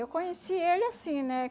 Eu conheci ele assim, né?